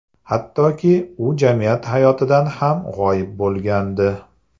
Hattoki u jamiyat hayotidan ham g‘oyib bo‘lgandi.